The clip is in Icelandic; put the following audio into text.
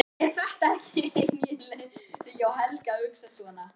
En er þetta ekki eigingirni hjá Helga að hugsa svona?